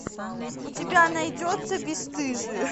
у тебя найдется бесстыжие